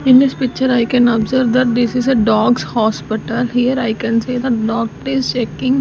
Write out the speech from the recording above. in this picture i can observe that this is a dogs hospital here i can see the doctor is checking --